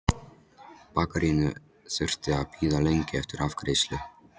bakaríinu þurfti hún að bíða lengi eftir afgreiðslu.